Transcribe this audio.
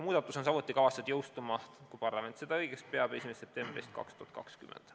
Muudatus on samuti kavatsetud jõustuma, kui parlament seda õigeks peab, 1. septembrist 2020.